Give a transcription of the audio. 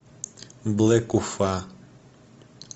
блэк уфа